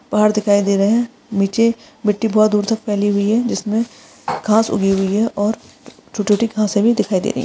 पहाड़ दिखाई दे रहे है निचे मिट्टी बहुत दूर तक फैली हुई है इसमें घाँस उगी हुई है और छोटी छोटी घास भी दिखाई दे रही है।